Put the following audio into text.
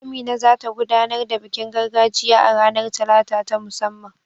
Amina za ta gudanar da bikin gargajiya a ranar Talata ta musamman.